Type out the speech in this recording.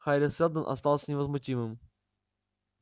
хари сэлдон остался невозмутимым